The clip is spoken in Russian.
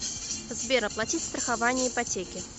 сбер оплатить страхование ипотеки